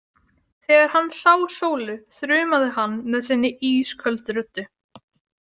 Þegar hann sá Sólu þrumaði hann með sinni ísköldu röddu.